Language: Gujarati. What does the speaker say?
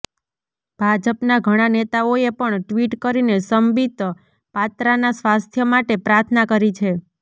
ભાજપનાં ઘણા નેતાઓએ પણ ટ્વીટ કરીને સંબિત પાત્રાના સ્વાસ્થ્ય માટે પ્રાર્થના કરી છે